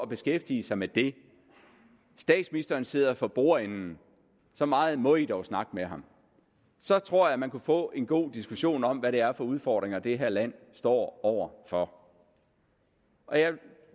beskæftige sig med det statsministeren sidder for bordenden og så meget må man dog snakke med ham så tror jeg man kunne få en god diskussion om hvad det er for udfordringer det her land står over for